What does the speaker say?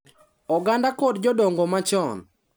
oganda kod jodongo machon.